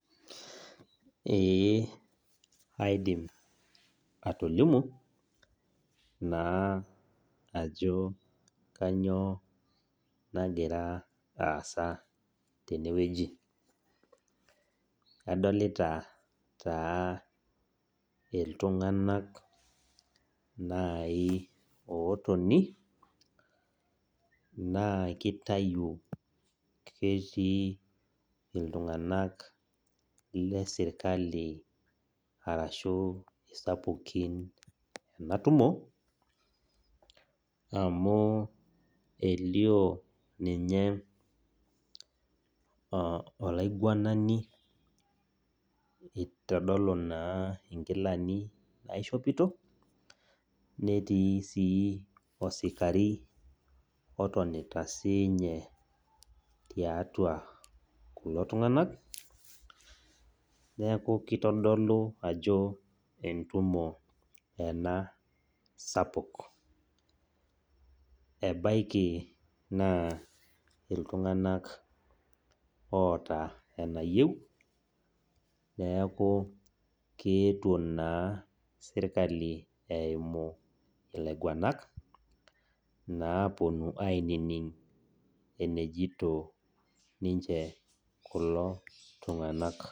Ee aidim atolimu ajo kainyioo nagira aasa tenewueji . Adolita taa nai iltunganak otoni naa kitayu ketii iltunganak lesirkali arashu iltunganak sapukin enatumo amu elio olaingwanani itodolu naa inkilani naishopito , netii sii osikari otonita sinye tiatua kulo tunganak, neku kitodolu ena ajo entumo ena sapuk. Ebaiki naa iltunganak ooota enayieu , neeku keetuo naa sirkali eimu ilaingwanak naa aponu ainining enejito kulo tunganak.